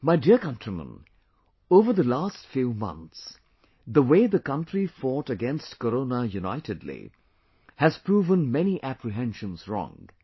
My dear countrymen, over the last few months, the way the country fought against Corona unitedly, has proven many apprehensions wrong